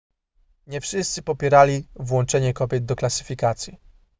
nie wszyscy popierali włączenie kobiet do klasyfikacji